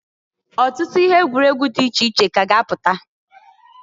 Ọtụtụ ihe egwuregwu di iche iche ka a ga -apụta.